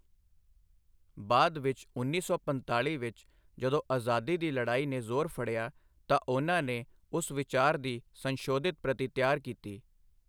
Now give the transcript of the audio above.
ਬਾਅਦ ਵਿੱਚ ਉੱਨੀ ਸੌ ਪੰਤਾਲੀ ਵਿੱਚ ਜਦੋਂ ਅਜ਼ਾਦੀ ਦੀ ਲੜਾਈ ਨੇ ਜ਼ੋਰ ਫੜਿਆ ਤਾਂ ਉਨ੍ਹਾਂ ਨੇ, ਉਸ ਵਿਚਾਰ ਦੀ ਸੰਸ਼ੋਧਿਤ ਪ੍ਰਤੀ ਤਿਆਰ ਕੀਤੀ।